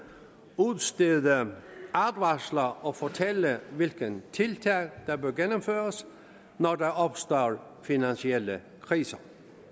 udstede advarsler og fortælle hvilke tiltag der bør gennemføres når der opstår finansielle kriser